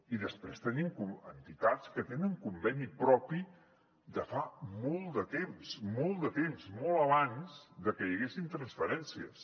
i després tenim entitats que tenen conveni propi de fa molt de temps molt de temps molt abans de que hi haguessin transferències